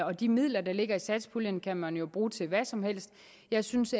og de midler der ligger i satspuljen kan man jo bruge til hvad som helst jeg synes